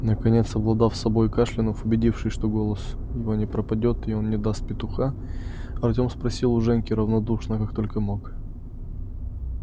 наконец совладав с собой и кашлянув убедившись что голос его не пропадёт и он не даст петуха артём спросил у женьки равнодушно как только мог